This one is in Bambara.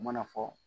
U mana fɔ